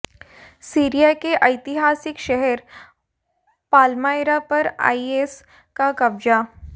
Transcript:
Syria के ऐतिहासिक शहर पालमायरा पर आईएस का कब्जा